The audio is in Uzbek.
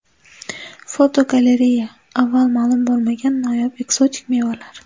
Fotogalereya: Avval ma’lum bo‘lmagan noyob ekzotik mevalar.